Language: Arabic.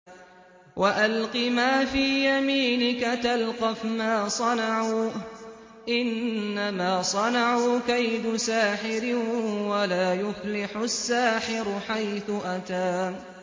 وَأَلْقِ مَا فِي يَمِينِكَ تَلْقَفْ مَا صَنَعُوا ۖ إِنَّمَا صَنَعُوا كَيْدُ سَاحِرٍ ۖ وَلَا يُفْلِحُ السَّاحِرُ حَيْثُ أَتَىٰ